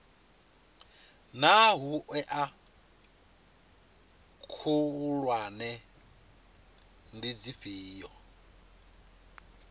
naa hoea khulwane ndi dzifhio